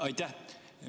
Aitäh!